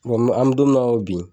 an mɛ don min na i ko bi.